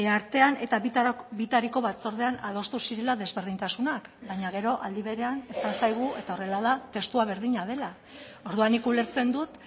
artean eta bitariko batzordean adostu zirela desberdintasunak baina gero aldi berean esan zaigu eta horrela da testua berdina dela orduan nik ulertzen dut